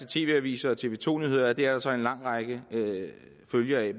tv avisen og tv to nyhederne at det altså er en lang række følger af